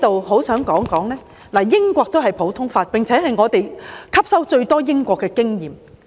我想指出，英國也實行普通法，我們吸收最多的便是英國的經驗。